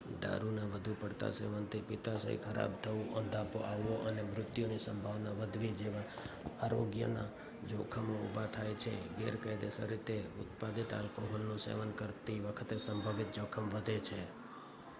દારૂના વધુ પડતા સેવનથી પિત્તાશય ખરાબ થવું અંધાપો આવવો અને મૃત્યુની સંભાવના વધવી જેવા આરોગ્યના જોખમો ઉભા થાય છે ગેરકાયદેસર રીતે ઉત્પાદિત આલ્કોહોલનું સેવન કરતી વખતે સંભવિત જોખમ વધે છે